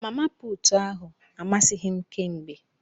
Mama puutụ ahu amasịghi m kémgbè.